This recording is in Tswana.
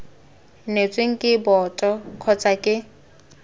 neetsweng ke boto kgotsa ke